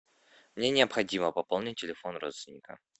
мне необходимо пополнить телефон родственника